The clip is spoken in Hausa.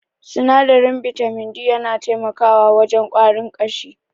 Sinadarin bitamin D yana taimakawa wajen ƙwarin ƙashi.